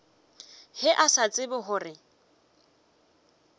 ge a sa tsebe gore